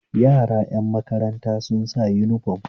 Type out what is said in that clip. Yaran ƴan makaranta sun sa uniform